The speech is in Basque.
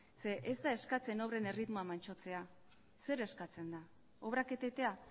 ez da eskatzen obren erritmoa mantsotzea zer eskatzen da obrak etetea